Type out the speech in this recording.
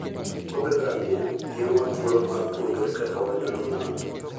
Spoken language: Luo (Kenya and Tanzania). Wuodh ngamia miyowa thuolo mar puonjore kaka wanyalo nano.